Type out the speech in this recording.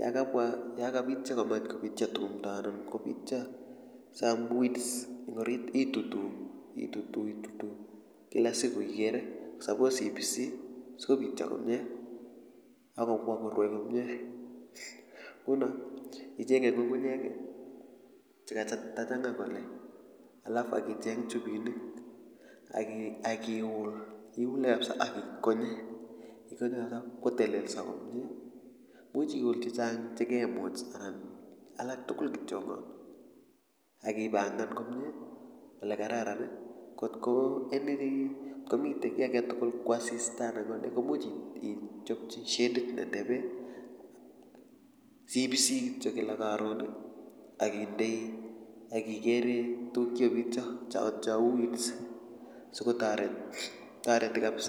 yokabwa anan yokabityo kamach kobityo timdo anan kobityo some weeds eng orit itutu itutu itutu kila siku ikere suppose ipisi sikobityo komye akobwa korwai komye nguno ichenge ngungunyek chekatachanga kole alafu akicheng tubinik akiul iule kapsa akikonye ikonye kapsa ipkotelelso komye imuch iul chechang chekemuch alak tugul kitiongon akipangan komye olekararan kotko any ngotkomite kiy aketugul ko asista anan konee komuch ichopchi shedit ne tebe siipisi kityo kila karon akindoi akikere tuguk chekikobityo cheu weeds sikotoret toreti kapsa